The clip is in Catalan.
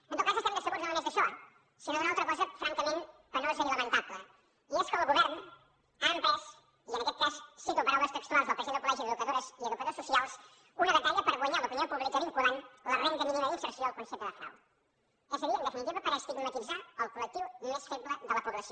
en tot cas estem decebuts no només d’això sinó d’una altra cosa francament penosa i lamentable i és que el govern ha emprès i en aquest cas cito paraules textuals del president del col·legi d’educadores i educadors socials una batalla per guanyar l’opinió pública vinculant la renda mínima d’inserció al concepte de frau és a dir en definitiva per estigmatitzar el col·lectiu més feble de la població